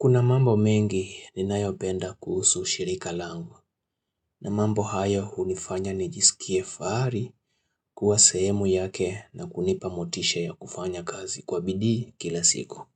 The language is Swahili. Kuna mambo mengi ninayopenda kuhusu shirika lango na mambo hayo hunifanya nijisikie fahari kuwa sehemu yake na kunipa motisha ya kufanya kazi kwa bidii kila siku.